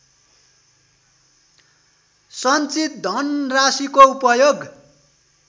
सञ्चित धनराशिको उपयोग